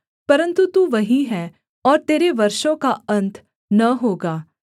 परन्तु तू वहीं है और तेरे वर्षों का अन्त न होगा